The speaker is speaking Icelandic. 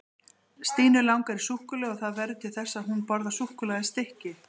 Stínu langar í súkkulaði og það verður til þess að hún borðar súkkulaðistykki.